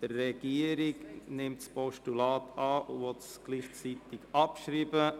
Die Regierung nimmt das Postulat an und will es gleichzeitig abschreiben.